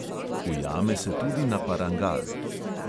Ujame se tudi na parangal.